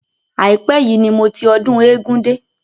Àípẹ́ yìí ni mo ti ọdún eégún dé.